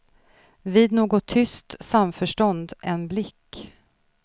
Vid något tyst samförstånd, en blick.